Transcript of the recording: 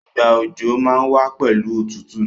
Ìgbà òjò má n wa pẹ̀lu otútù